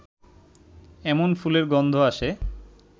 এমন ফুলের গন্ধ আসে